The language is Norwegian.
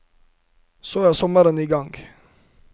Så er sommeren i gang.